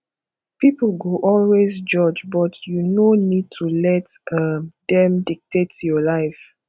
people go always judge but you no need to let um dem dictate your life